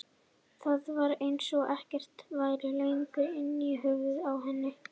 Það var eins og ekkert væri lengur inni í höfðinu á henni.